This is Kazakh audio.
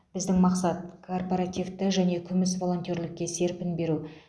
біздің мақсат корпоративті және күміс волонтерлікке серпін беру